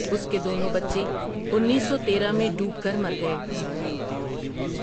اس کے دونوں بچے انیس سو تیرہ میں ڈوب کر مر گئے۔